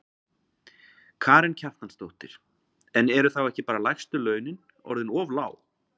Karen Kjartansdóttir: En eru þá ekki bara lægstu launin orðin of lág?